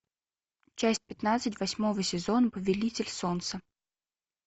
часть пятнадцать восьмого сезона повелитель солнца